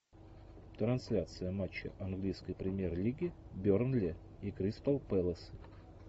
трансляция матча английской премьер лиги бернли и кристал пэлас